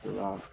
O la